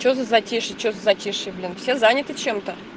что за затишье что затишье блин все заняты чем-то